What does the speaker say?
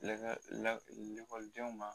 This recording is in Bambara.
lakɔlidenw ma